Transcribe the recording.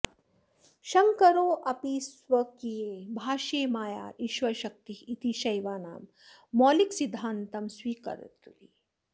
शंकरोऽपि स्वकीये भाष्ये माया ईश्वरशक्ति इति शैवानां मौलिकसिद्धान्तं स्वीकरोति